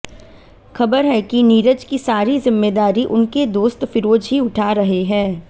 खबर है की नीरज की सारी जिम्मेदारी उनके दोस्त फिरोज ही उठा रहे हैं